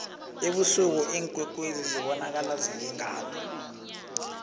ebusuku iinkwekwezi zibonakala zilingana